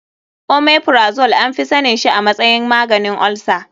Omeprazole anfi sanin shi a matsayin maganin olsa.